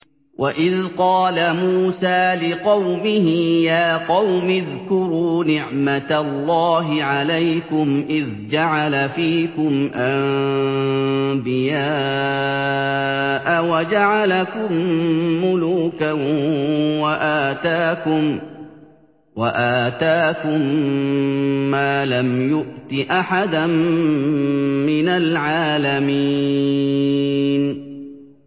وَإِذْ قَالَ مُوسَىٰ لِقَوْمِهِ يَا قَوْمِ اذْكُرُوا نِعْمَةَ اللَّهِ عَلَيْكُمْ إِذْ جَعَلَ فِيكُمْ أَنبِيَاءَ وَجَعَلَكُم مُّلُوكًا وَآتَاكُم مَّا لَمْ يُؤْتِ أَحَدًا مِّنَ الْعَالَمِينَ